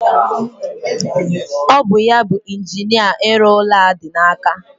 Ọ bụ ya bu injinia ịrụ ụlọ a dị n'aka.